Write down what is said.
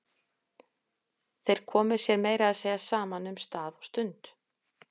Þeir komu sér meira að segja saman um stað og stund.